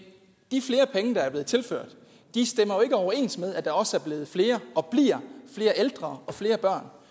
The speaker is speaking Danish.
de flere penge der er blevet tilført stemmer ikke overens med at der også er blevet flere og bliver flere ældre og flere